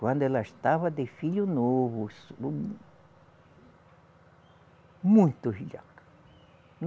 Quando ela estava de filho novo, muito velhaca.